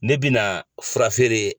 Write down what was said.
Ne bina fura feere.